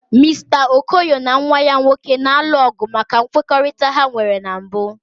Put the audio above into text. Mister Okoye na nwa ya nwoke na-alụ ọgụ maka nkwekọrịta ha nwere na mbụ.